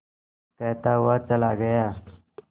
कहता हुआ चला गया